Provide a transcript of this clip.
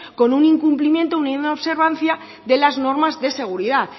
con un incumplimiento una inobservancia de las normas de seguridad